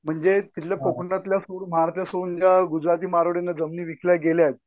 म्हणजे तिथल्या कोंकणातल्या फूड गुजराती मारवाड्यांना जमिनी विकल्या गेल्यात.